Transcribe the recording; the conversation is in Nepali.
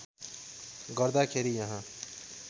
गर्दा खेरि यहाँ